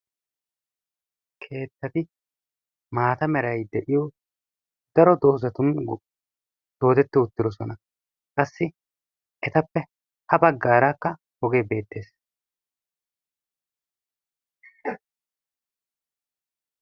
Keettati maata meray de'iyo daro doozatun dooddeti urtidoosona. Qassi etappe ha baggarakka oge beettees.